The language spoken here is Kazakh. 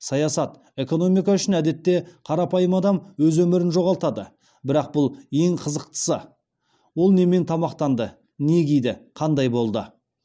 саясат экономика үшін әдетте қарапайым адам өз өмірін жоғалтады бірақ бұл ең қызықтысы ол немен тамақтанды не киді қандай болды